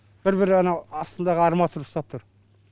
бір бір анау астындағы арматура ұстап тұр